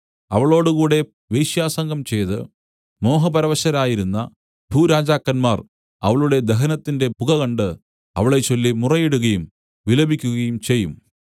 അവളോട് കൂടെ വേശ്യാസംഗം ചെയ്ത് മോഹപരവശരായിരുന്ന ഭൂരാജാക്കന്മാർ അവളുടെ ദഹനത്തിന്റെ പുക കണ്ട് അവളെച്ചൊല്ലി മുറയിടുകയും വിലപിക്കുകയും ചെയ്യും